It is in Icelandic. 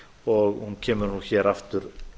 og hún kemur hér aftur